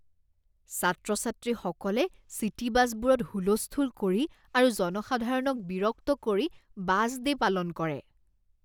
ছাত্ৰ ছাত্ৰীসকলে চিটী বাছবোৰত হুলস্থূল কৰি আৰু জনসাধাৰণক বিৰক্ত কৰি বাছ ডে' পালন কৰে।